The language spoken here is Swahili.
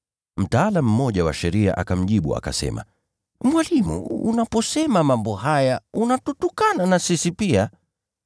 Mtaalamu mmoja wa sheria akamjibu, akasema, “Mwalimu, unaposema mambo haya, unatutukana na sisi pia.”